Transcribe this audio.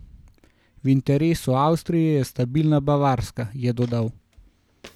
V interesu Avstrije je stabilna Bavarska, je dodal.